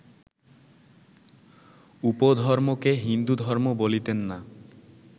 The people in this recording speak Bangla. উপধর্মকে হিন্দুধর্ম বলিতেন না